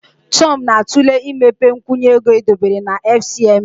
Tom na-atụle imepe nkwụnye ego edobere na FCMB.